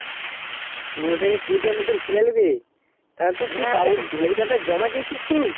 পুনেরো কুঁড়ি তার মতো ছেলে নেবে জমা দিয়েছিস তুই